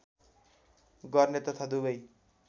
गर्ने तथा दुबै